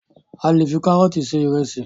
A le fi karọọti ṣe ìrẹsì